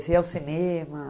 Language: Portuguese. Você ia ao cinema?